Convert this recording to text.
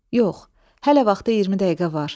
Yox, hələ vaxta 20 dəqiqə var.